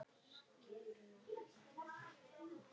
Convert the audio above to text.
í æð.